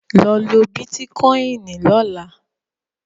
Lọ lo Bítíkoìnì lọ́la!